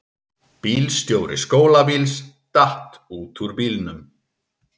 Bílstjóri skólabíls datt út úr bílnum